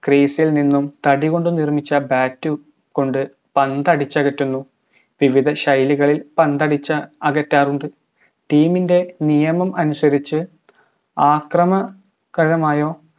crease ഇൽ നിന്നും തടികൊണ്ട് നിർമ്മിച്ച bat ഉംകൊണ്ട് പന്തടിച്ചകറ്റുന്നു വിവിധ ശൈലികളിൽ പന്തടിച്ചകറ്റാറുണ്ട് team ൻറെ നിയമം അനുസരിച്ച് ആക്രമ കഴമായോ